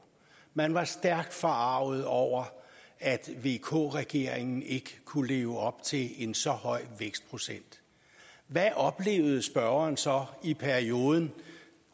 man var stærkt forarget over at vk regeringen ikke kunne leve op til en så høj vækstprocent hvad oplevede spørgeren så i perioden